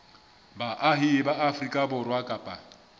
baahi ba afrika borwa kapa